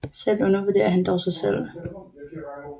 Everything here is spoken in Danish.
Selv undervurderer han dog sig selv